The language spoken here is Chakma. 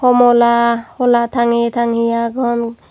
homola hola tangeye tangeye agon.